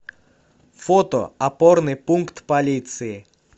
фото опорный пункт полиции